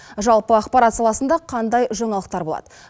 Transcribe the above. жалпы ақпарат саласында қандай жаңалықтар болады